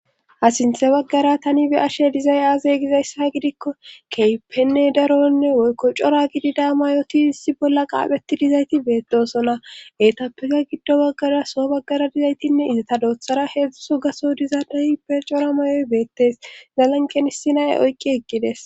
Ha sinthe baggara tani be ashe dizay aazey gizayssa gidikko keypenne daronne woykko cora gidida mayoti issi bolla qaapheti dizayti beettosona etappeka giddo baggara so baggara dizaytinne izata doothara heedzdzuso gaso dizaaday be cora mayoy beettes zalanqenissinae oyqqi eqqides